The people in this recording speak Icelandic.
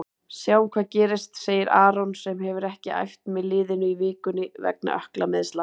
Sjáum hvað gerist, segir Aron sem hefur ekki æft með liðinu í vikunni vegna ökklameiðsla.